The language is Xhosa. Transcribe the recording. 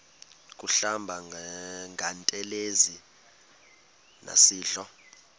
kuhlamba ngantelezi nasidlo